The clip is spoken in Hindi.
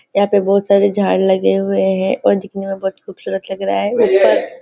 यहाँ पे बहुत सारे झाड़ लगे हुए हैं और दिखने में बहुत खूबसुरत लग रहा हैं।